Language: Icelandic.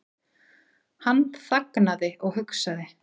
Hann þagði og hugsaði.